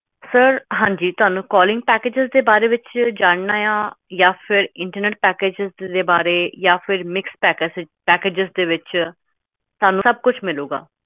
calling packagesinternet packagesmixed packages